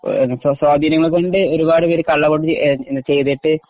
സ്വാധീനംകൊണ്ട് ഒരുപാടുപേർ കള്ളവോട്ട് ചെയ്തിട്ട്